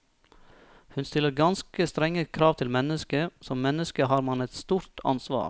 Hun stiller ganske strenge krav til mennesket, som menneske har man et stort ansvar.